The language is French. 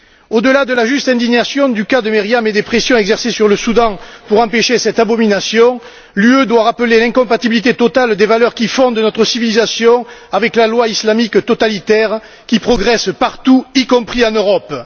Au delà de la juste indignation du cas de Meriam et des pressions exercées sur le Soudan pour empêcher cette abomination, l'Union européenne doit rappeler l'incompatibilité totale des valeurs qui font de notre civilisation avec la loi islamique totalitaire qui progresse partout, y compris en Europe.